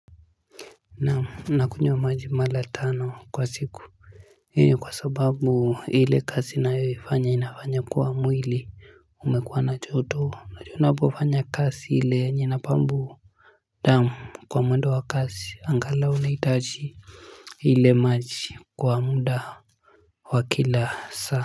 Naam nakunywa wa majimala tano kwa siku io kwa sababu ile kasi na yoifanya inafanya kuwa mwili umekuwa na choto unajua unapofanya kasi ile yenye ina pambu damu kwa mwendo wa kasi angalau unahitaji ile maji kwa muda wa kila saa.